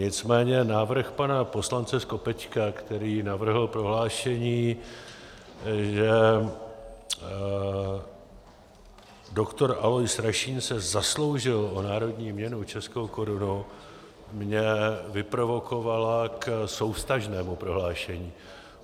Nicméně návrh pana poslance Skopečka, který navrhl prohlášení, že doktor Alois Rašín se zasloužil o národní měnu, českou korunu, mě vyprovokoval k souvztažnému prohlášení.